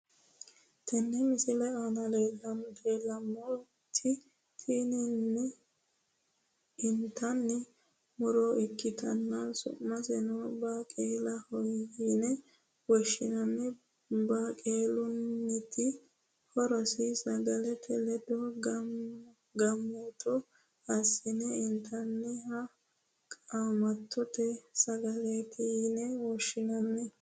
Tini misilete aanna la'neemoti intanni muro ikitanna su'miseno baaqulahoyine woshinnanni baaqulunniti horosino sagalete ledo qaamatto asi'ne intannita qaamatote sagaleeti yine woshinnanni.